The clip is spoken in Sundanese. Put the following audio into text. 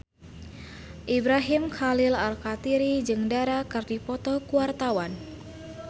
Ibrahim Khalil Alkatiri jeung Dara keur dipoto ku wartawan